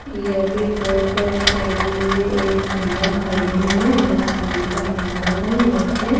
यहां पे coat pant पहने हुए एक भैया खड़े हैं और शादी का माहौल है यहां पे।